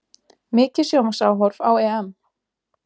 Mikið sjónvarpsáhorf á EM